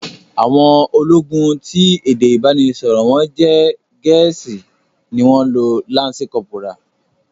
Àwọn ológun ti èdè ìbánisọ̀rò wọ́n jẹ́ Gẹ̀ẹ́sì ni wọ́n lo lansi kọ́pórà